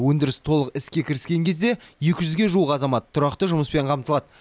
өндіріс толық іске кіріскен кезде екі жүзге жуық азамат тұрақты жұмыспен қамтылады